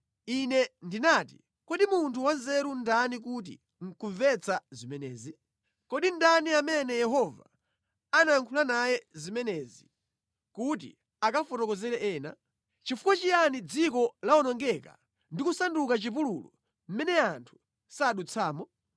Ine ndinati, “Kodi munthu wanzeru ndani woti nʼkumvetsa zimenezi? Kodi ndani amene Yehova anayankhula naye zimenezi kuti akafotokozere ena? Nʼchifukwa chiyani dziko lawonongeka ndi kusanduka chipululu, mʼmene anthu sadutsamo?”